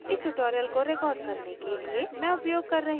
इस tutorial को record करने के लिए मैं उपयोग कर रही हूँ